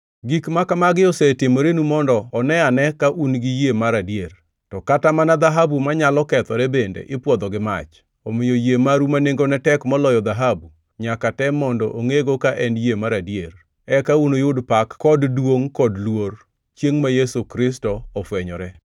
Gik makamagi osetimorenu mondo one ane ka un gi yie mar adier. To Kata mana dhahabu manyalo kethore bende ipwodho gi mach. Omiyo yie maru ma nengone tek moloyo dhahabu, nyaka tem mondo ongʼego ka en yie mar adier. Eka unuyud pak kod gi duongʼ kod luor, chiengʼ ma Yesu Kristo ofwenyore.